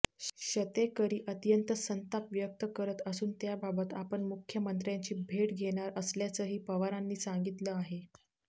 शतेकरी अत्यंत संताप व्यक्त करत असून त्याबाबत आपण मुख्यमंत्र्यांची भेट घेणार असल्याचंही पवारांनी सांगितलं आहे